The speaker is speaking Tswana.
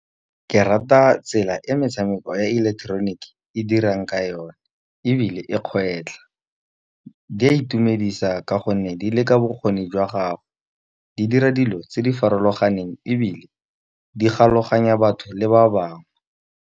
Ke rata tsela e metshameko ya ileketeroniki e dirang ka yone, ebile e kgwetlha. Di a itumedisa ka gonne di leka bokgoni jwa gago, di dira dilo tse di farologaneng ebile di galoganya batho le ba bangwe.